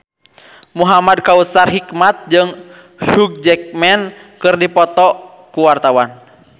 Muhamad Kautsar Hikmat jeung Hugh Jackman keur dipoto ku wartawan